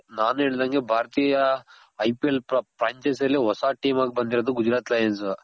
ನಾನು ಹೇಳ್ದಂಗೆ ಭಾರತೀಯ IPL franchise ಅಲ್ಲಿ ಹೊಸ team ಆಗ್ ಬಂದಿರೋದು ಗುಜರಾತ್ ಲಯನ್ಸ್.